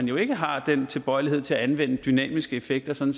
jo ikke har den tilbøjelighed til at anvende dynamiske effekter sådan